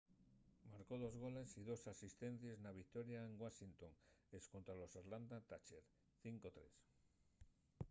marcó dos goles y dos asistencies na victoria en washington escontra los atlanta thrashers 5-3